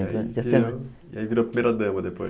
E aí virou primeira dama depois.